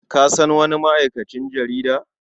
Ka san wani ma'aikacin jarida?